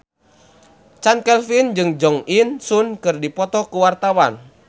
Chand Kelvin jeung Jo In Sung keur dipoto ku wartawan